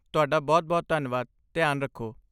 ਤੁਹਾਡਾ ਬਹੁਤ ਬਹੁਤ ਧੰਨਵਾਦ, ਧਿਆਨ ਰੱਖੋ।